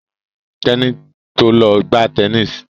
Teni to lọ gbà Tẹníìsì.